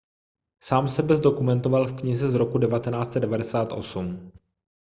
sám sebe zdokumentoval v knize z roku 1998